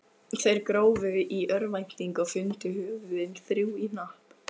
Þeir grófu í örvæntingu og fundu höfuðin, þrjú í hnapp.